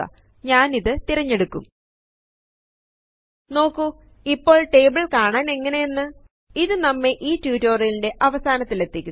ഞാൻ ഇത് തിരഞ്ഞെടുക്കും നോക്കു ഇപ്പോൾ ടേബിൾ കാണാൻ എങ്ങനെയെന്നു ഇത് നമ്മെ ഈ റ്റുറ്റൊരിയലിന്റെ അവസാനതിലെത്തിക്കുന്നു